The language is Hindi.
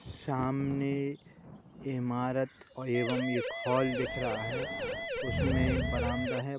सामने इमारत एवं एक हॉल दिख रहा है। उसमें बरामदा है।